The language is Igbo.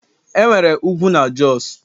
enwere ugwu na Jos